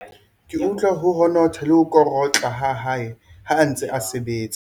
Ke utlwa ho honotha le ho korotla ha hae ha a ntse a sebetsa.